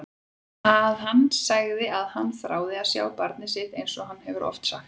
Að hann segi að hann þrái að sjá barnið sitt einsog hann hefur oft sagt.